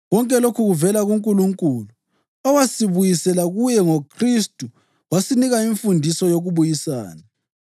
Konke lokhu kuvela kuNkulunkulu owasibuyisela kuye ngoKhristu wasinika imfundiso yokubuyisana: